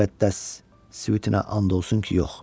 Müqəddəs svitinə and olsun ki, yox.